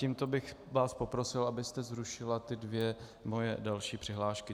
Tímto bych vás poprosil, abyste zrušila ty dvě moje další přihlášky.